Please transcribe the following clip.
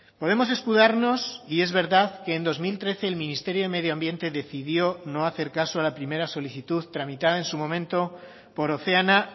podemos escudarnos y es verdad que en dos mil trece el ministerio de medio ambiente decidió no hacer caso a la primera solicitud tramitada en su momento por oceana